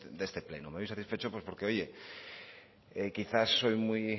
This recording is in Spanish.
de este pleno me voy satisfecho pues porque oye quizá soy muy